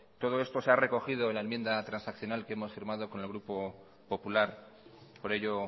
todo esto se ha recogido en la enmienda transaccional que hemos firmado con el grupo popular por ello